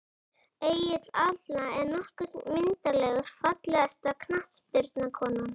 Egill Atla er nokkuð myndarlegur Fallegasta knattspyrnukonan?